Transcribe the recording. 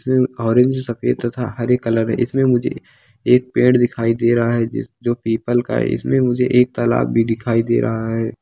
इसमें ऑरेंज सफ़ेद हरे कलर इसमें मुझे एक पेड़ दिखाई दे रहा है जो पीपल का है इसमें मुझे एक तालाब भी दिखाई दे रहा है।